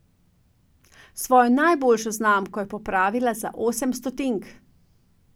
Svojo najboljšo znamko je popravila za osem stotink.